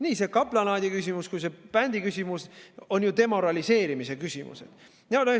Nii see kaplanaadi küsimus kui ka see bändi küsimus on ju demoraliseerimise küsimus.